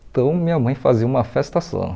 Então minha mãe fazia uma festa só.